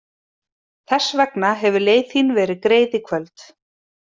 Þess vegna hefur leið þín verið greið í kvöld.